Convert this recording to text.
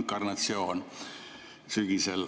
inkarnatsioon sügisel.